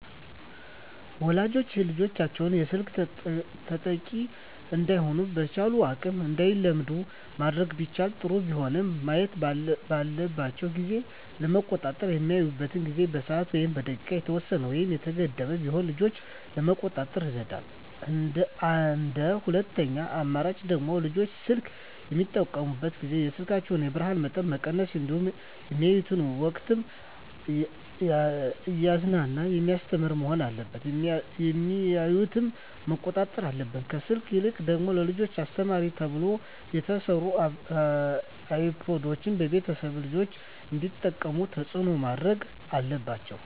ወላጆች ልጆቻቸውን የስልክ ተጠቂ እዳይሆኑ በቻሉት አቅም እንዳይለምዱ ማድረግ ቢችሉ ጥሩ ቢሆንም ማየት ባለባቸው ጊዜ ለመቆጣጠር በሚያዩበት ጊዜ በሰዓት ወይም በደቂቃ የተወሰነ ወይም የተገደበ ቢሆን ልጆችን ለመቆጣጠር ይረዳል እንደ ሁለተኛ አማራጭ ደግሞ ልጆች ስልክ በሚጠቀሙበት ጊዜ የስልኩን የብርሀኑን መጠን መቀነስ እንዲሁም በሚያዩበት ወቅትም እያዝናና በሚያስተምር መሆን አለበት የሚያዮትን መቆጣጠር አለብን። ከስልክ ይልቅ ደግሞ ለልጆች አስተማሪ ተብለው የተሰሩ አይፓዶችን ቤተሰቦች ልጆች እንዲጠቀሙት ተፅዕኖ ማድረግ አለባቸው።